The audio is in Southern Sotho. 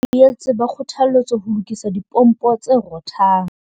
Badudi boetse ba kgothaletswa ho lokisa dipompo tse rothang.